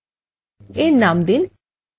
সব ক্ষেত্রগুলি অন্তর্ভুক্ত করুন